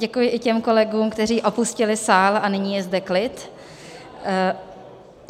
Děkuji i těm kolegům, kteří opustili sál, a nyní je zde klid.